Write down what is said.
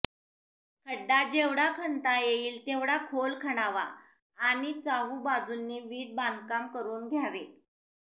खड्डा जेव्हढा खणता येईल तेव्हढा खोल खणावा आणि चाहुबाजूनी वीट बांधकाम करून घ्यावे